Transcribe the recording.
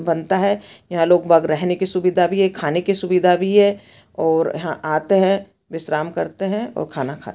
बनता है यहाँ लोग बाग रहने की सुविधा भी है खाने की सुविधा भी है और यहाँ आते है विश्राम करते है और खाना खाते--